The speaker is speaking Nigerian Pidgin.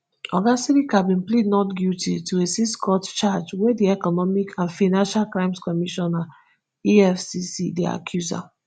oga sirika bin plead not guilty to a sixcount charge wey di economic and financial crimes commission efcc dey accuse am